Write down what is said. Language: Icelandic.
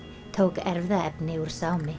tók erfðaefni úr